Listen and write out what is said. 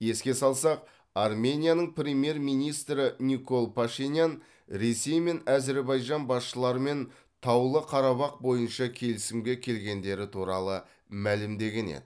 еске салсақ арменияның премьер министрі никол пашинян ресей мен әзірбайжан басшыларымен таулы қарабақ бойынша келісімге келгендері туралы мәлімдеген еді